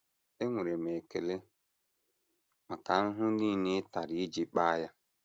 Enwere m ekele maka ahụhụ nile ị tara iji kpaa ya.